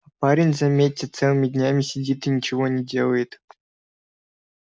парень заметьте целыми днями сидит и ничего не делает